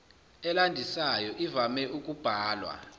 elandisayo ivame ukubhalwa